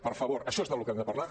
per favor això és del que hem de parlar